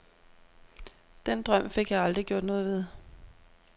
Den drøm fik jeg aldrig gjort noget ved.